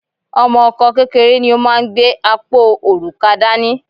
Ọmọ Ọkọ kékeré ni ó máa gbé apó òrùka dání